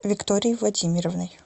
викторией владимировной